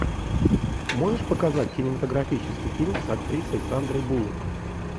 можешь показать кинематографический фильм с актрисой сандрой буллок